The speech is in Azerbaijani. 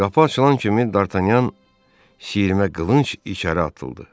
Qapı açılan kimi Dartanyan sirimə qılınc içəri atıldı.